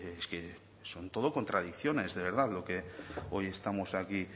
es que son todo contradicciones de verdad lo que hoy estamos aquí